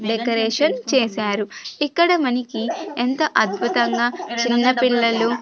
Decoration చేశారు ఇక్కడ మనకి ఎంత అద్భుతంగా చిన్న పిల్లలు.